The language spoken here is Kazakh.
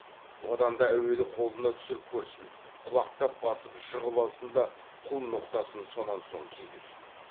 одан да әуелі қолына түсіріп көрсін құлақтап басып жығып алсын да құл ноқтасын сонан соң кигізсін